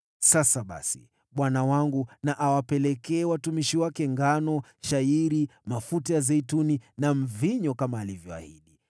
“Sasa basi bwana wangu na awapelekee watumishi wake ngano, shayiri, mafuta ya zeituni na mvinyo kama alivyoahidi,